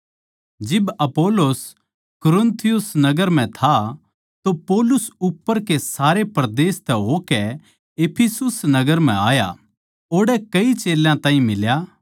जिब अपुल्लोस कुरिन्थस नगर म्ह था तो पौलुस उप्पर के सारे परदेस तै होकै इफिसुस नगर म्ह आया ओड़ै कई चेल्यां ताहीं मिल्या